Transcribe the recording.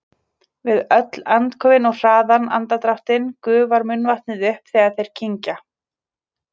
Við öll andköfin og hraðan andardráttinn gufar munnvatnið upp þegar þeir kyngja.